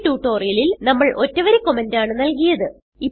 ഈ ട്യൂട്ടോറിയലിൽ നമ്മൾ ഒറ്റ വരി കമന്റ് ആണ് നല്കിയത്